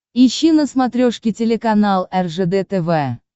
ищи на смотрешке телеканал ржд тв